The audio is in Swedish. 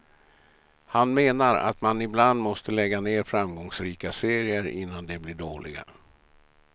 Han menar att man ibland måste lägga ner framgångsrika serier innan de blir dåliga.